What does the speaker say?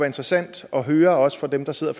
interessant at høre også for dem der sidder